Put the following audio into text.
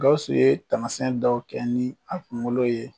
Gawuso ye tamasiyɛn dɔw kɛ ni a kunkolo ye.